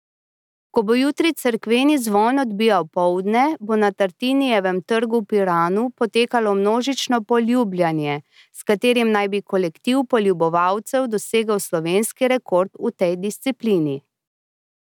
Ko bo jutri cerkveni zvon odbijal poldne, bo na Tartinijevem trgu v Piranu potekalo množično poljubljanje, s katerim naj bi kolektiv poljubovalcev dosegel slovenski rekord v tej disciplini.